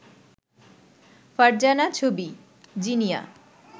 ফারজানা ছবি, জিনিয়া